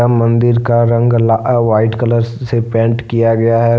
मंदिर का रंग ला व्हाइट कलर से पेंट किया गया है।